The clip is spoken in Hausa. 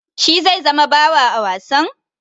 Shi zai zama bawa a wasan?